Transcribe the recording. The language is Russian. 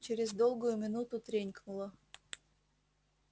через долгую минуту тренькнуло